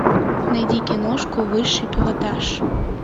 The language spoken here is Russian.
найди киношку высший пилотаж